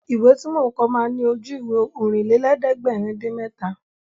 Ìwé tí mò ń kọ ma ní Ojú-Ìwé Ọ̀rìnlélẹ̀ẹ́dẹ́gbèrin-dín-mẹ́ta